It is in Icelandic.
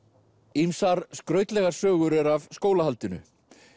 ýmsar skrautlegar sögur eru af skólahaldinu